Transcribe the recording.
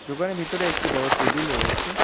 দোকানের ভিতরে একটি বড়ো টেবিল রয়েছে।